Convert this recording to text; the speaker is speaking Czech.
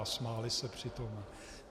A smáli se při tom.